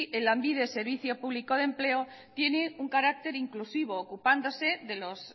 lanbide servicio público de empleo tiene un carácter inclusivo ocupándose de los